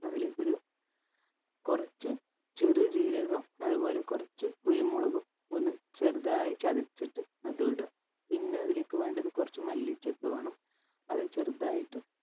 അതിലേക്കൊരു കൊറച്ച് ചെറുജീരകം അതുപോലെ കൊറച്ച് കുരുമുളകും ഒന്ന് ചെറുതായി ചതച്ചിട്ട് അതു ഇടുഅ പിന്ന അതിലേക്ക് വേണ്ടത് കൊറച്ച് മല്ലിച്ചപ്പ് വേണം അത് ചെറുതായിട്ട്